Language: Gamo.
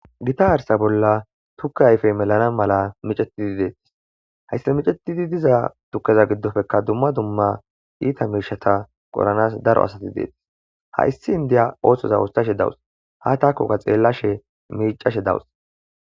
Gita arisa bolla tuke melana maala miccetidi de'ees. Hayisa miccetidi diza tukkeza bollappekka dumma dumma itabata qoranasi daro asy de'ees. Ha issi indiya oso otasha de'awusu qasi ettakoka xelashshe miccashe dawusu.